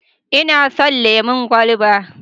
Ina son lemon kwalaba.